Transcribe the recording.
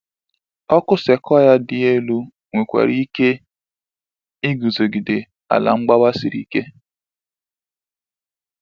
Ọkụ sequoia dị elu nwekwara ike iguzogide ala mgbawa siri ike.